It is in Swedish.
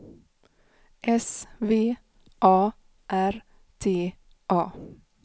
S V A R T A